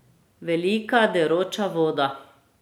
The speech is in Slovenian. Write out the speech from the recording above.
Velika deroča voda.